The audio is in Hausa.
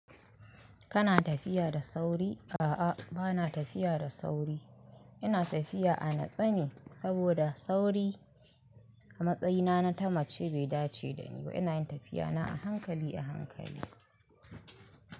Kana tafiya da sauri? A'a, bana tafiya da sauri. Ina tafiya a natsane saboda sauri a matsayina na ta mace bai dace da ni ba. Ina yin tafiyana a hankali, a hankali.